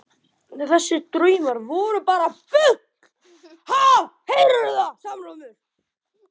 Þessir draumar voru bara bull.